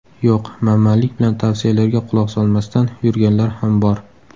Yo‘q, manmanlik bilan tavsiyalarga quloq solmasdan yurganlar ham bor.